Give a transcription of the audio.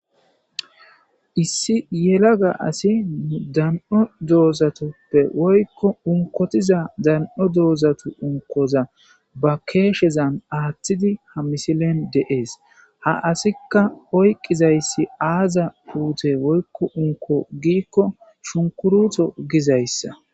Issi yela ga asi dan'o doozatoppe woykko unkotiza dan'o doozatu unkoza ba keeshezan aaththidi ha misilen deees ha asikka oyqizayssi aaza puute woykko unko giikko shunkurutho gizayssa.